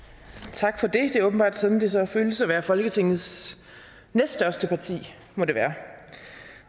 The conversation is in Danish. tak for det det er åbenbart sådan det så føles at være folketingets næststørste parti må det være